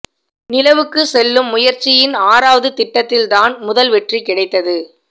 நிலவுக்கு செல்லும் முயற்சியின் ஆறாவது திட்டத்தில் தான் முதல் வெற்றி கிடைத்தது